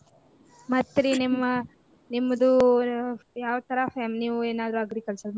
ಹ್ಮ್‌ ಮತ್ತ ರೀ ನಿಮ ನಿಮ್ದು ರೀ ಯಾವ ತರಾ ನೀವು ಏನಾದ್ರು agriculture .